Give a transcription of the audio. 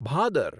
Bhadar